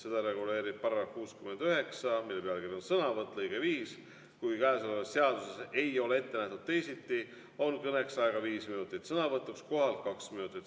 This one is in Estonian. Seda reguleerib § 69, mille pealkiri on "Sõnavõtt", lõige 5: "Kui käesolevas seaduses ei ole ette nähtud teisiti, on kõneks aega viis minutit, sõnavõtuks kohalt kaks minutit.